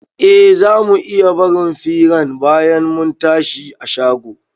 Eh, zamu iya barin firan bayan mun tashi a shago